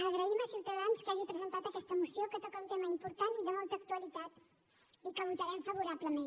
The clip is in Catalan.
agraïm a ciutadans que hagi presentat aquesta moció que toca un tema important i de molta actualitat i que votarem favorablement